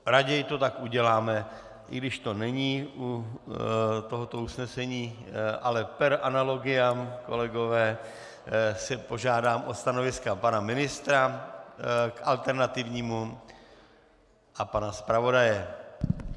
Raději to tak uděláme, i když to není u tohoto usnesení, ale per analogiam, kolegové, si požádám o stanoviska pana ministra k alternativnímu a pana zpravodaje.